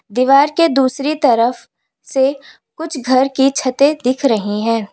दीवार के दूसरी तरफ से कुछ घर की छतें दिख रही हैं।